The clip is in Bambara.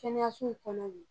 kɛnɛyasow kɔnɔ bi